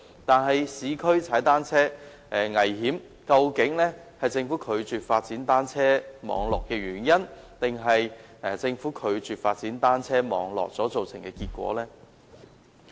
在市區踏單車危險，這究竟是政府拒絕發展單車網絡的原因，還是政府拒絕發展單車網絡造成的結果呢？